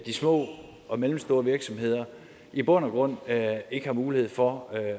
små og mellemstore virksomheder i bund og grund ikke har mulighed for at